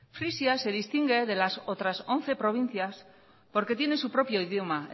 frisia se distingue de las otras once provincias porque tienen su propio idioma